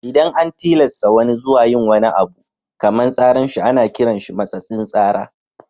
Idan an tillasa wani zuwa yin abu kaman tsaran shi ana kiran shi matsatsin tsara.